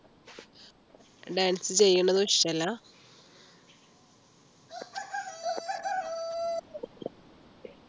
Dance ചെയ്യുന്നതും ഇഷ്ടമല്ല